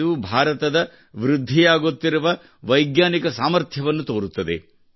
ಇದು ಭಾರತದ ವೃದ್ಧಿಯಾಗುತ್ತಿರುವ ವೈಜ್ಞಾನಿಕ ಸಾಮರ್ಥ್ಯವನ್ನು ತೋರುತ್ತದೆ